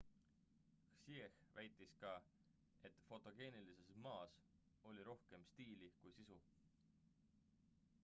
hsieh väitis ka et fotogeenilises ma's oli rohkem stiili kui sisu